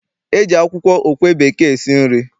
E ji akwụkwọ okwe bekee esi nri.